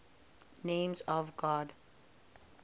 names of god